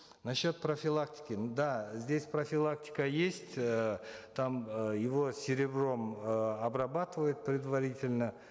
насчет профилактики да здесь профилактика есть э там э его серебром э обрабатывают предварительно